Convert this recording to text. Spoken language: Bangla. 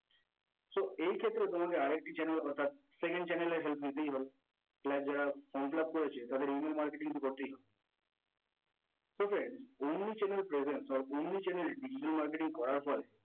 so এই ক্ষেত্রে তোমাকে আরেকটি channel অর্থাৎ second Channel এর help নিতেই হবে, cleint যারা from fill up করেছে তাদের email marketing করতে হবে so friends omni channel presents or omni channel digital marketing করার পরে